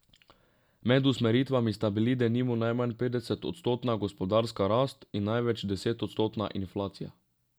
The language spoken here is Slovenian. Med usmeritvami sta bili denimo najmanj petodstotna gospodarska rast in največ desetodstotna inflacija.